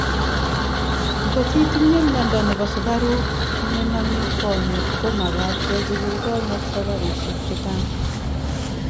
Ngot itinye miondo nebo sukaruk nename konyek ko magat kechigil konyek safarishek chechang